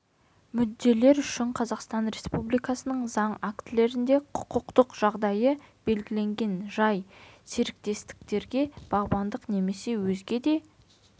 мүдделер үшін қазақстан республикасының заң актілерінде құқықтық жағдайы белгіленетін жай серіктестіктерге бағбандық немесе өзге де